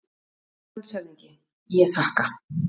LANDSHÖFÐINGI: Ég þakka.